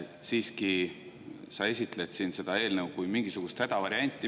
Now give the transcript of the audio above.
Siiski esitled sa seda eelnõu siin kui mingisugust hädavarianti.